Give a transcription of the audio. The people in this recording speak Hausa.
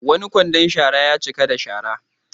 Wani kwandon shara ya cika da shara.